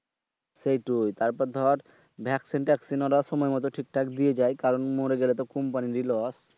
সেটাই তারপর দর ভ্যাকসিন ট্রেকসিন ওরা সময় মত ঠিক ঠাক দিয়ে যায়। মরি গেলে তো company ই loss